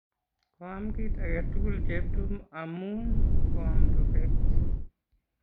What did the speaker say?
Koam kit age tugul Cheptum amun koamw rupet.